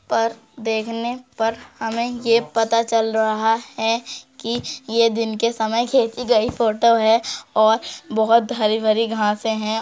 पर देखने पर हमें ये पता चल रहा है कि ये दिन के समय में खींची गई फोटो है और बहुत हरी-भरी घासें हैं।